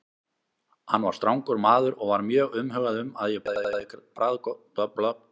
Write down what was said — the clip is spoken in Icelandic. Hann var strangur maður og var mjög umhugað um að ég borðaði bragðvonda grauta.